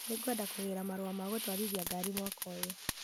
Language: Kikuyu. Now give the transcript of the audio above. Niĩ ngwenda kũgĩra marũa ma gũtwarithia ngari mwaka ũyũ.